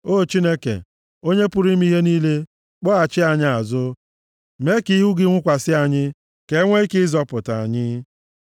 O Chineke, Onye pụrụ ime ihe niile, kpọghachi anyị azụ, mee ka ihu gị nwukwasị anyị, ka e nwee ike ịzọpụta anyị.